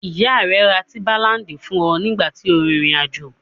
Ìyá rẹ ra tíḿbálaǹdì fún ọ nígbà tí o rin ìrìn-àjò.